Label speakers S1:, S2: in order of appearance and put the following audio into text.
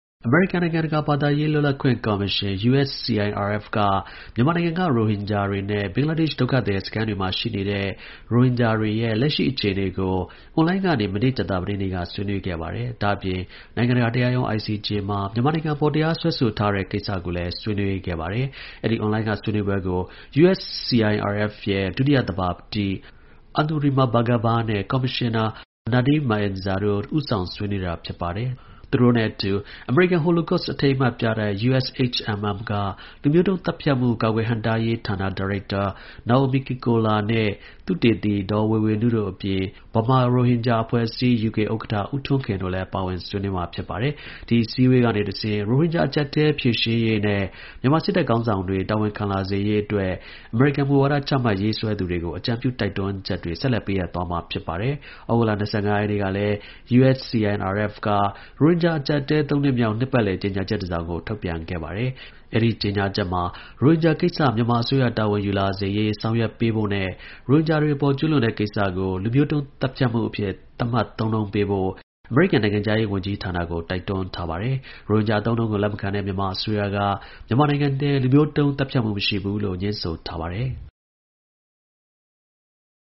S1: အမေရိကန် နိုင်ငံတကာ ဘာသာရေး လွတ်လပ်ခွင့် ကော်မရှင် (USCIRF) က မြန်မာနိုင်ငံက ရိုဟင်ဂျာတွေနဲ့ ဘင်္ဂလားဒေ့ရှ် ဒုက္ခ သည် စခန်းတွေမှာ ရှိနေတဲ့ ရိုဟင်ဂျာတွေရဲ့ လက်ရှိ အခြေအနေကို အွန်လိုင်းကနေ မနေ့ ကြာသပတေးနေ့က ဆွေးနွေးခဲ့ပါတယ်။ ဒါ့ အပြင် နိုင်ငံတကာ တရားရုံး (ICJ) မှာ မြန်မာနိုင်ငံအပေါ် တရား စွဲဆိုထားတဲ့ ကိစ္စကိုလည်း ဆွေးနွေးခဲ့ပါတယ်။ အဲဒီ အွန်လိုင်းက ဆွေးနွေးပွဲ ကို USCIRF ရဲ့ဒုတိယသဘာပတိ Anurima Bhargava နဲ့ ကော်မရှင်နာ Nadine Maenza တို့ ဦးဆောင် ဆွေးနွေးတာ ဖြစ်ပါတယ်။ သူတို့ နဲ့အတူ အမေရိကန် Holocaust အထိမ်းအမှတ် ပြတိုက် (USHMM)က လူမျိုးတုန်း သတ်ဖြတ်မှု ကာကွယ်ဟန့်တားရေးဌာန ဒါရိုက် တာ Naomi Kikoler နဲ့ သုတေသီဒေါ် Wai Wai Nu တို့အပြင် ဗမာရိုဟင်ဂျာအဖွဲ့အစည်း(UK)ဥက္ကဌဦးထွန်းခင် တို့လည်း ပါဝင်ဆွေးနွေးပါတယ်။ ဒီအစည်းအဝေးကနေတဆင့် ရိုဟင်ဂျာ အကျပ်အတည်း ဖြေရှင်းရေးနဲ့ မြန်မာ စစ်တပ် ခေါင်းဆောင်တွေ တာဝန်ခံလာစေရေး အတွက် အမေရိကန် မူဝါဒ ချမှတ် ရေးဆွဲသူတွေကို အကြံပြု တိုက်တွန်းချက်တွေ ဆက်လက် ပေးအပ်သွားမှာ ဖြစ်ပါတယ်။ ဩဂုတ်လ ၂၅ ရက်နေ့ကလည်း USCIRF က ရိုဟင်ဂျာ အကျပ်အတည်း ၃ နှစ်မြောက် နှစ်ပတ်လည် ကြေညာချက်တစ်စောင်ကို ထုတ်ပြန်ခဲ့ပါတယ်။ အဲဒီ ကြေညာချက်မှာ ရိုဟင်ဂျာကိစ္စ မြန်မာ အစိုးရတာဝန်ယူလာစေရေးဆောင်ရွက်ပေးဖို့နဲ့ ရိုဟင်ဂျာတွေအပေါ် ကျူးလွန်တဲ့ကိစ္စကို လူမျိုးတုန်း သတ်ဖြတ် မှုအဖြစ် သတ်မှတ် သုံးနှုန်းပေးဖို့ အမေရိကန်နိုင်ငံခြားရေးဝန်ကြီးဌာနကို တိုက်တွန်း ထား ပါတယ်။ ရိုဟင်ဂျာ အသုံးအနှုန်းကို လက်မခံတဲ့ မြန်မာ အစိုးရက မြန်မာနိုင်ငံထဲ လူမျိုးတုန်း သတ်ဖြတ်မှု မရှိဘူးလို့ ငြင်းဆို ထားပါတယ်။